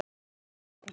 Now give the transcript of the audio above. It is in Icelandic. Grundarsmára